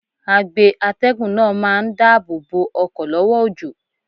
Agbe atẹ́gùn náà máa ń dáàbò bo ọkọ̀ lọ́wọ́ òjò.